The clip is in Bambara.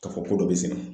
K'a fɔ ko dɔ be sɛnɛ